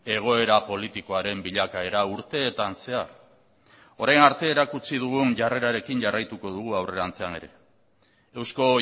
egoera politikoaren bilakaera urteetan zehar orain arte erakutsi dugun jarrerarekin jarraituko dugu aurrerantzean ere eusko